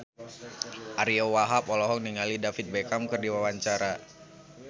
Ariyo Wahab olohok ningali David Beckham keur diwawancara